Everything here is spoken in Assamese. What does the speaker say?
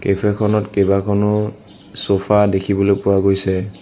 কেফে খনত কেইবাখনো ছ'ফা দেখিবলৈ পোৱা গৈছে।